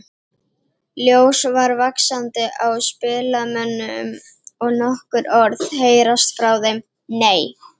Ljós fara vaxandi á spilamönnum og nokkur orð heyrast frá þeim: Nei!